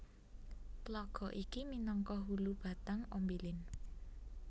Tlaga iki minangka hulu Batang Ombilin